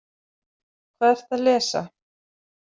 Hvað ertu að lesa?